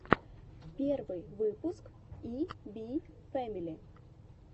первый выпуск и би фэмили